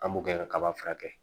An b'o gɛn ka kaba furakɛ.